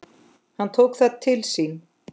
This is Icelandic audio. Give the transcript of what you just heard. Hann tók það til sín